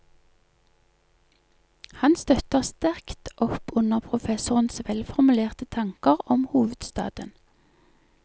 Han støtter sterkt opp under professorens velformulerte tanker om hovedstaden.